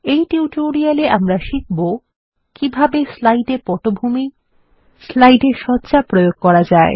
এই টিউটোরিয়ালে আমরা শিখবো কিভাবে160 স্লাইডে পটভূমি স্লাইডে সজ্জা প্রয়োগ করা যায়